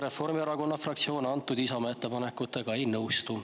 Reformierakonna fraktsioon Isamaa ettepanekutega ei nõustu.